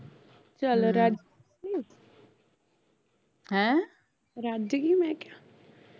ਚਲ ਰੱਜ ਗਈ ਐ ਰਾਜ ਗਯੀ ਮੈਂ ਕਿਹਾ